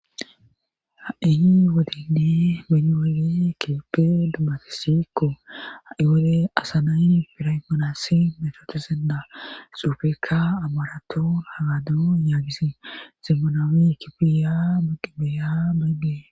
Ha'ihi wadindi meniwali kileppe dumati sikko ha'iwole asanay firaymanassi metotozendaa xuufekka amaraton hagadu yaagisi zemmonawi kipiya moqibeya beybdee